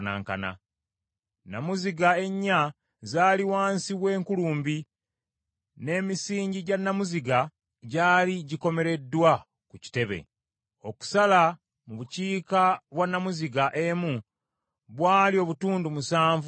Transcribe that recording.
Nnamuziga ennya zaali wansi w’enkulumbi; n’emisingi gya nnamuziga gyali gikomereddwa ku kitebe. Okusala mu bukiika bwa nnamuziga emu bwali obutundu musanvu obwa mita.